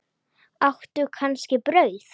Áttu kannski brauð?